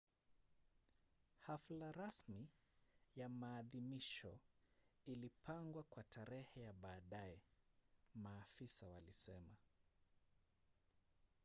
hafla rasmi ya maadhimisho ilipangwa kwa tarehe ya baadaye maafisa walisema